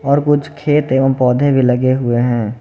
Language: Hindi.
और कुछ खेत एवं पौधे भी लगे हुए हैं।